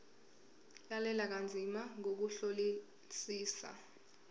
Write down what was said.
lalela kanzima ngokuhlolisisa